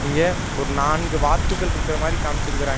இங்க ஒரு நான்கு வாத்துகள்ருக்குற மாரி காமிச்சுருக்குறாங்க.